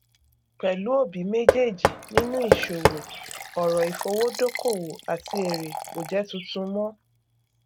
pẹlú òbí méjèèjì nínú ìṣòwò ọrọ ìfowódókòwò àti èrè kò jẹ tuntun mọ